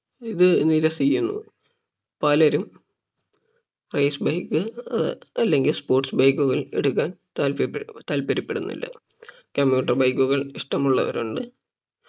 ഇത് നിരസിക്കുന്നു പലരും race bike ഏർ അല്ലങ്കിൽ sports bike കൾ എടുക്കാൻ താൽപര്യപ്പെടു താൽപര്യപ്പെടുന്നില്ല commuter bike കൾ ഇഷ്ടമുള്ളവർ ഉണ്ട്